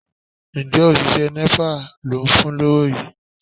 Ǹjẹ́ òṣìṣẹ́ Nepa ló ń fún lówó yìí?